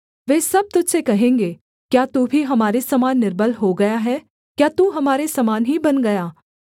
वे सब तुझ से कहेंगे क्या तू भी हमारे समान निर्बल हो गया है क्या तू हमारे समान ही बन गया